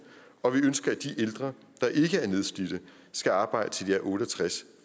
og vi ønsker at de ældre der ikke er nedslidte skal arbejde til de er otte og tres